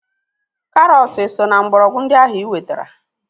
Karọt eso na mgbọrọgwụ ndị ahu iwetara?